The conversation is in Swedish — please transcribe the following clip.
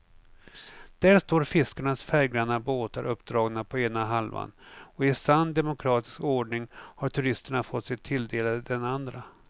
Där står fiskarnas färggranna båtar uppdragna på ena halvan och i sann demokratisk ordning har turisterna fått sig tilldelade den andra.